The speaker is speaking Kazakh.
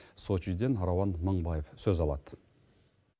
сочиден рауан мыңбаев сөз алады